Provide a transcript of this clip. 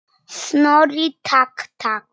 Snorri, takk, takk.